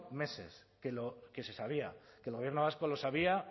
meses que se sabía que el gobierno vasco lo sabía